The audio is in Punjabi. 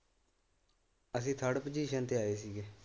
ਅਸੀ ਥਰਡ ਪੁਜੀਸ਼ਨ ਤੇ ਆਏ ਸੀਗੇ।